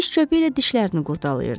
Diş çöpü ilə dişlərini qurdalayırdı.